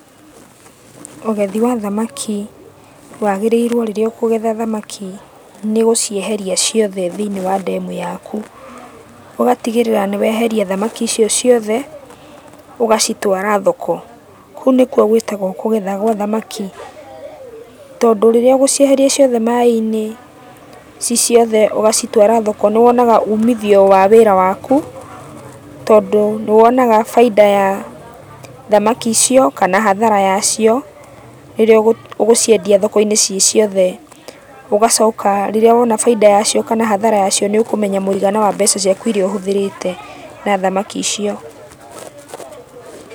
Ũgethi wa thamaki wagĩrĩirwo rĩrĩa ũkũgetha thamaki nĩgũcieheria ciothe thĩiniĩ wa ndemu yaku. Ũgatigĩrĩra nĩweheria thamaki icio ciothe, ũgacitwara thoko, kũu nĩkuo gwĩtagũo kũgetha gwa thamaki, tondũ rĩrĩa ũgũcieheria ciothe maĩ-inĩ, ciĩ ciothe ũgacitwara thoko, nĩwonaga umithio wa wĩra waku, tondũ nĩwonaga bainda ya thamaki icio kana hathara yacio, rĩrĩa ũgũciendia thoko-inĩ ciĩ ciothe. Ũgacoka rĩrĩa wona bainda yacio kana hathara yacio nĩũkũmenya mũigana wa mbeca ciaku iria ũhũthĩrĩte na thamaki icio. Pause